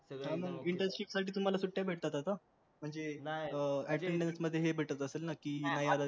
internship मध्ये तुम्हाला सुट्ट्या भेटतात आता म्हणजे attendance मध्ये हे भेटत असेल ना कि